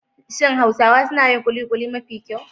Shin Hausawa suna yin kulikuli mafi kyau?